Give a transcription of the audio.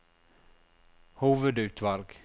hovedutvalg